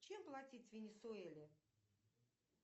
чем платить в венесуэле